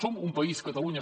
som un país catalunya